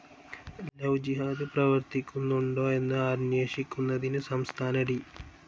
Love ജിഹാദ്‌ പ്രവർത്തിക്കുന്നുണ്ടോ എന്ന് അന്വേഷിക്കുന്നതിന് സംസ്ഥാന ഡി.